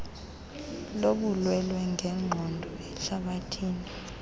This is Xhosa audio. lobulwelwe ngenqondo ehlabathini